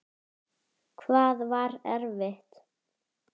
Hvað var erfitt?